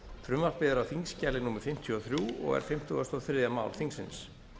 frumvarpið er á þingskjali númer fimmtíu og þrjú og er fimmtugasta og þriðja mál þingsins